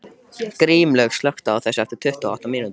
Grímlaugur, slökktu á þessu eftir tuttugu og átta mínútur.